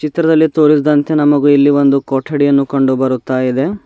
ಚಿತ್ರದಲ್ಲಿ ತೋರಿಸಿದಂತೆ ನಮಗು ಇಲ್ಲಿ ಒಂದು ಕೊಠಡಿಯನ್ನು ಕಂಡು ಬರುತ್ತಾ ಇದೆ.